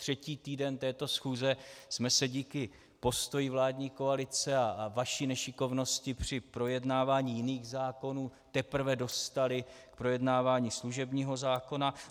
Třetí týden této schůze jsme se díky postoji vládní koalice a vaší nešikovnosti při projednávání jiných zákonů teprve dostali k projednávání služebního zákona.